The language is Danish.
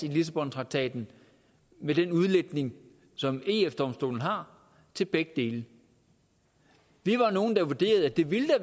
i lissabontraktaten med den udlægning som eu domstolen har til begge dele vi var nogle der vurderede at det ville